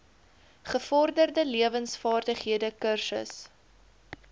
gevorderde lewensvaardighede kursus